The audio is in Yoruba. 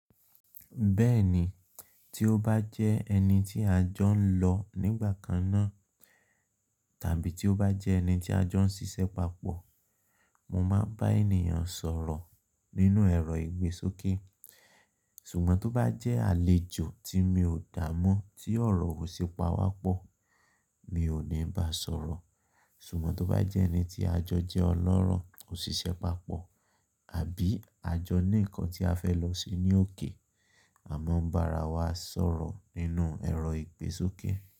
Bẹ́ẹ̀ni, tí ó bá jẹ́ ẹni tí a jọ ń lọ nígbà kan náà tàbí tí ó bá jẹ́ ẹni tí a jọ ń ṣiṣẹ́ papọ̀, mo máa bá ènìyàn sọ̀rọ̀ nínú ẹ̀rọ ìgbésókè. Ṣùgbọ́n tó bá jẹ́ àlejò tí mi ò dá mọ́ tí ọ̀rọ̀ ò ṣe pàwá pọ̀, mi ò ní ba sọ̀rọ̀. Ṣùgbọ́n tó bá jẹ́ ẹni tí a jọ jẹ́ ọlọ́rọ̀, òṣìṣẹ́ papọ̀ àbí a jọ ní nǹkan tí a fẹ́ lọ ṣe ní òkè, àmo bá ra wa sọ̀rọ̀ nínú ẹ̀rọ ìgbésókè.